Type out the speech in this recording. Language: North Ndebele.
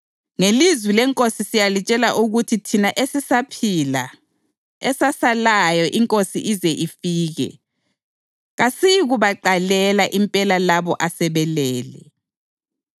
Ngelizwi leNkosi siyalitshela ukuthi thina esisaphila, esasalayo iNkosi ize ifike, kasiyikubaqalela impela labo asebelele.